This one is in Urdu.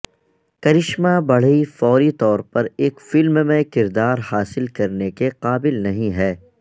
کرشمہ بڑھئ فوری طور پر ایک فلم میں کردار حاصل کرنے کے قابل نہیں ہے